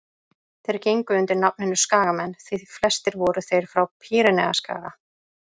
þeir gengu undir nafninu skagamenn því flestir voru þeir frá pýreneaskaga